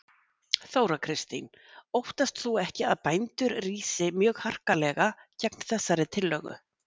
Þóra Kristín: Óttast þú ekki að bændur rísi mjög harkalega gegn þessari tillögu?